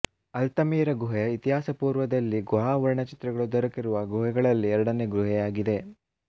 Altamira ಗುಹೆ ಇತಿಹಾಸಪೂರ್ವದಲ್ಲಿ ಗುಹಾ ವರ್ಣಚಿತ್ರಗಳು ದೊರಕಿರುವ ಗುಹೆಗಳಗಳಲ್ಲಿ ಎರಡನೆಯ ಗುಹೆಯಾಗಿದೆ